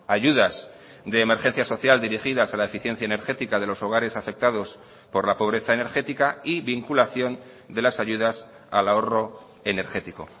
ayudas de emergencia social dirigidas a la eficiencia energética de los hogares afectados por la pobreza energética y vinculación de las ayudas al ahorro energético